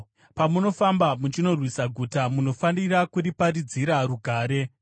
Pamunofamba muchinorwisa guta, munofanira kuriparidzira rugare.